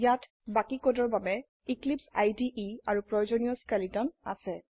ইয়াত বাকি কোডৰ বাবে এক্লিপছে ইদে আৰু প্ৰয়োজনীয় স্কেলেটন আছে